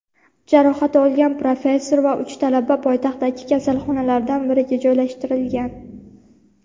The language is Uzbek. jarohat olgan professor va uch talaba poytaxtdagi kasalxonalardan biriga joylashtirilgan.